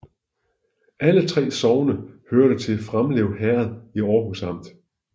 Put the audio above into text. Alle 3 sogne hørte til Framlev Herred i Aarhus Amt